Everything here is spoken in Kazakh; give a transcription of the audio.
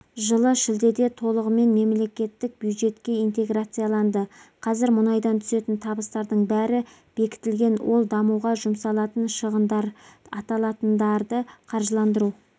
жылы шілдеде толығымен мемлекеттік бюджеттке интеграцияланды қазір мұнайдан түсетін табыстардың бәрі бекітілген ол дамуға жұмсалатын шығындар аталатындарды қаржыландыру